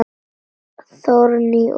Þórný og Skafti.